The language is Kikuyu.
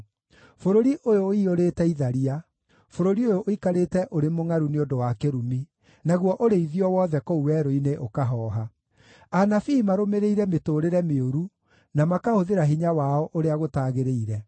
Bũrũri ũyũ ũiyũrĩte itharia; bũrũri ũyũ ũikarĩte ũrĩ mũngʼaru nĩ ũndũ wa kĩrumi, naguo ũrĩithio wothe kũu werũ-inĩ ũkahooha. Anabii marũmĩrĩire mĩtũũrĩre mĩũru, na makahũthĩra hinya wao ũrĩa gũtagĩrĩire.